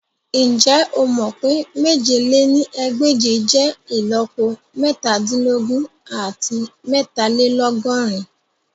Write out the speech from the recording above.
Njẹ o mọ pe mèje lé ní ẹgbẹ́je jẹ ìlọ́po metadinlogun ati meetalelogorin?